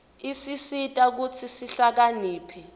isisita kutsi sihlakaniphe